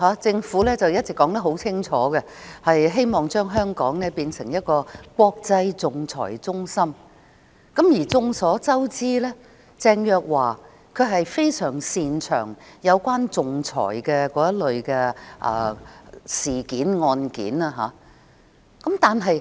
政府一直很清楚表示，希望將香港經營為一個國際仲裁中心，而眾所周知，鄭若驊非常擅長處理仲裁案件。